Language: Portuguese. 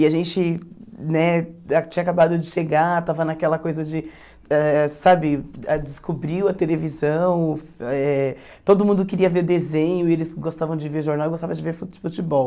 E a gente né ah tinha acabado de chegar, estava naquela coisa de, ãh sabe, a descobriu a televisão, eh todo mundo queria ver desenho e eles gostavam de ver jornal e gostavam de ver fu futebol.